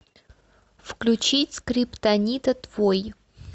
включить скриптонита твой